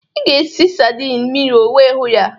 Ị ga-esi n'sayịd miro wee hụ ya